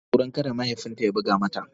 Tana tsoron kada mahaifin ta ya buga mata.